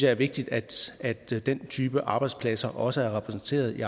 er vigtigt at den type arbejdspladser også er repræsenteret i